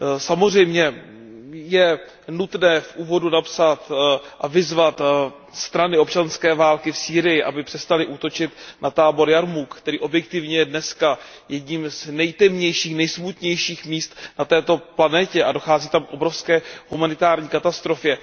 Samozřejmě je nutné v úvodu napsat a vyzvat strany občanské války v Sýrii, aby přestaly útočit na tábor Jarmúk, který objektivně je dneska jedním z nejtemnějších, nejsmutnějších míst na této planetě a dochází tam k obrovské humanitární katastrofě.